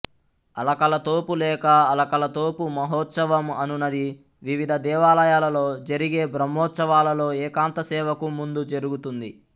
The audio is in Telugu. అలకలతోపు లేక అలకలతోపు మహోత్సవం అనునది వివిధ దేవాలయాలలో జరిగే బ్రహ్మోత్సవాలలో ఏకాంత సేవకు ముందు జరుగుతుంది